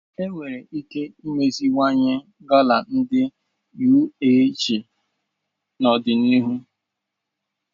Enwere ike imeziwanye gala ndi UAC n'ọdịnihu